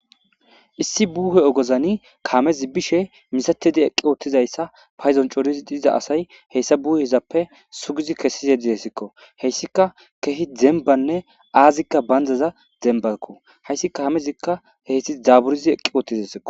Issi buuhe ogozani kaamezi bishe misatedi eqqi oottizayssa payzoncorizi diza asay heyssa buuhezappe sugizi kessize didesikko heyssika kehi dembanne aazikka bandaza dembako heyssi ka hamezikka heysti zaaburizi eqqi oottizasikko.